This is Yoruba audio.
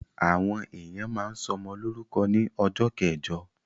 Àwọn èèyàn máa ń sọmọ lórúkọ ní ọjọ́ kẹjọ